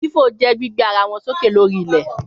Fífò je gbígbé ara wọn sókè lórí ilẹ̀